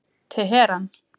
Teheran